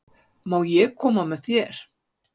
Má ég koma með þér?